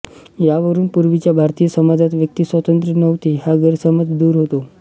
यावरुन पूर्वीच्या भारतीय समाजात व्यक्तिस्वातंत्र्य नव्हते हा गैरसमज दूर होतो